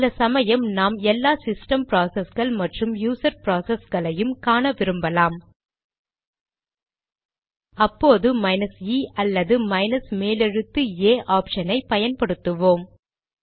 சில சமயம் நாம் எல்லா சிஸ்டம் ப்ராசஸ்கள் மற்றும் யூசர் ப்ராசஸ்களையும் காண விரும்பலாம் அப்போது மைனஸ் இe அல்லது மைனஸ் மேலெழுத்து ஏA ஆப்ஷன் ஐ பயன்படுத்துவோம்